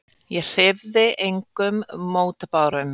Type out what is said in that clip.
Ég hreyfði engum mótbárum.